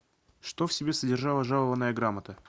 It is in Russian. что в себе содержала жалованная грамота